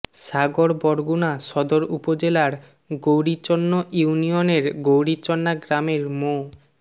সাগর বরগুনা সদর উপজেলার গৌরীচন্ন ইউনিয়নের গৌরীচন্না গ্রামের মো